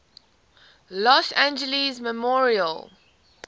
los angeles memorial